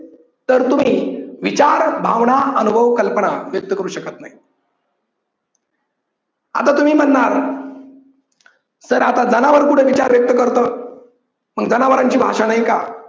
तर तुम्ही विचार भावना अनुभव कल्पना व्यक्त करू शकत नाही. आता तुम्ही म्हणणार तर आता जनावर कुठे विचार व्यक्त करत मग जनावरांची भाषा नाही का?